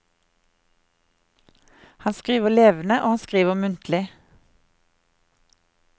Han skriver levende og han skriver muntlig.